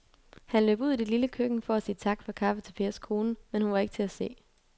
Han løb ud i det lille køkken for at sige tak for kaffe til Pers kone, men hun var ikke til at se.